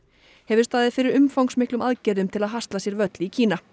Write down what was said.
hefur staðið fyrir umfangsmiklum aðgerðum til að hasla sér völl í Kína